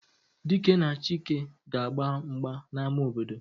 Dike na Chike ga-agba mgba n'ama obodo